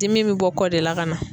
Dimi be bɔ kɔ de la ka na